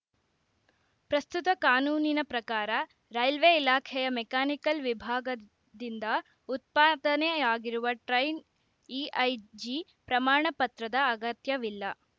ಪ್ರಸ್ತುತ ಕಾನೂನಿನ ಪ್ರಕಾರ ರೈಲ್ವೆ ಇಲಾಖೆಯ ಮೆಕಾನಿಕಲ್‌ ವಿಭಾಗದಿಂದ ಉತ್ಪಾದನೆಯಾಗಿರುವ ಟ್ರೈನ್‌ ಇಐಜಿ ಪ್ರಮಾಣ ಪತ್ರದ ಅಗತ್ಯವಿಲ್ಲ